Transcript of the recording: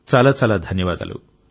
చాలా చాలా ధన్యవాదాలు